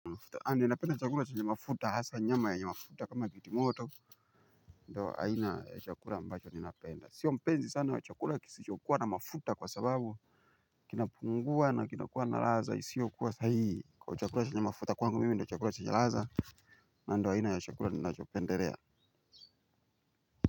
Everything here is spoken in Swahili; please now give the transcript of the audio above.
Napenda chakula chenye mafuta hasa nyama yenye mafuta kama kiti moto. Ndio aina ya chakula ambacho ninapenda. Sio mpenzi sana wa chakula kisichokuwa na mafuta kwa sababu kinapungua na kinakuwa na latha isio kuwa sahihi. Kwa hivyo chakula chenye mafuta kwangu mimi ndio chakula chenye latha. Ndio aina ya chakula ninachopendelea.